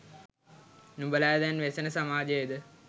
නුඹලා දැන් වෙසෙන සමාජයද?